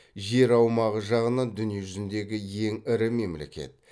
жер аумағы жағынан дүние жүзіндегі ең ірі мемлекет